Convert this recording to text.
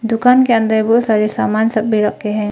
दुकान के अंदर बहुत सारे सामान सब सभी रखे हैं।